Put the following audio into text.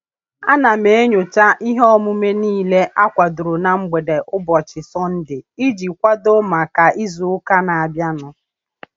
A na m enyocha ihe omume niile akwadoro na mgbede ụbọchị Sọnde iji kwado maka izuụka na-abịa nụ.